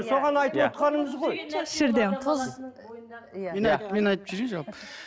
соған айтывотқанымыз ғой тұз мен айтып жіберейінші